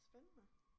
Spændende